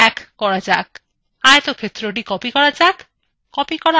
আয়তক্ষেত্রthe copy করা যাক